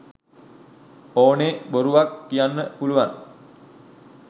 ඕනේ බොරුවක් කියන්න පුළුවන්